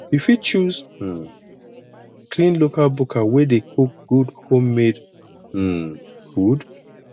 you fit choose um clean local buka wey dey cook good home made um food